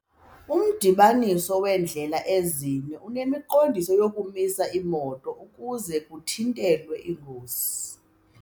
Umdibaniso weendlela ezine unemiqondiso yokumisa iimoto ukuze kuthintelwe iingozi.